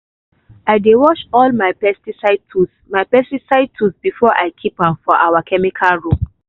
i dey wash all my pesticide tools my pesticide tools before i keep am for our chemical room.